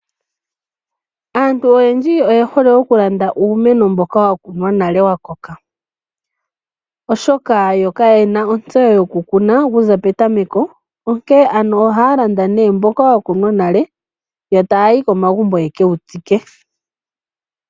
Aantu oyendji oye hole oku landa uumeno mboka wakunwa nale wa koka, oshoka yo kayena ontseyo yoku kuna okuza petameko. Onkee ano ohaya landa nee mboko wa kunwa nale etaayi kegumbo ya ke wu tsike.